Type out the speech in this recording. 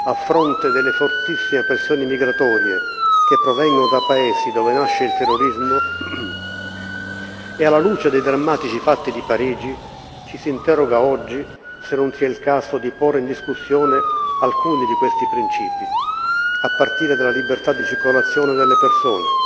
A fronte delle fortissime pressioni migratorie che provengono da Paesi dove nasce il terrorismo e alla luce dei drammatici fatti di Parigi, ci si interroga oggi se non sia il caso di porre in discussione alcuni di questi principi, a partire della libertà di circolazione delle persone.